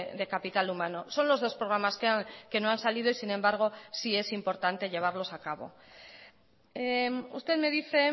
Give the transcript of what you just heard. de capital humano son los dos programas que no han salido y sin embargo sí es importante llevarlos a cabo usted me dice